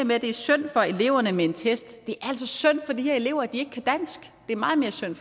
med at det er synd for eleverne med en test det er altså synd for de her elever at de ikke kan dansk det er meget mere synd